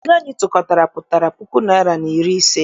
Ego anyị tụkọtara pụtara puku naịra na iri ise.